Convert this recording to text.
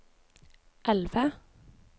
elve